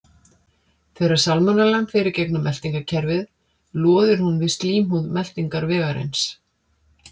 Þegar salmonellan fer í gegnum meltingarkerfið loðir hún við slímhúð meltingarvegarins.